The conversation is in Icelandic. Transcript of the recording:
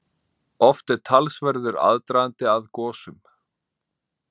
Oft er talsverður aðdragandi að gosum.